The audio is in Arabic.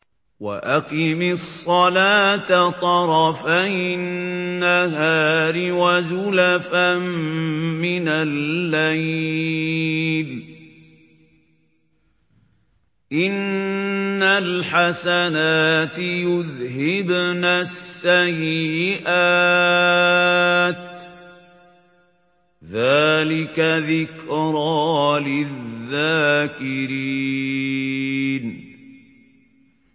وَأَقِمِ الصَّلَاةَ طَرَفَيِ النَّهَارِ وَزُلَفًا مِّنَ اللَّيْلِ ۚ إِنَّ الْحَسَنَاتِ يُذْهِبْنَ السَّيِّئَاتِ ۚ ذَٰلِكَ ذِكْرَىٰ لِلذَّاكِرِينَ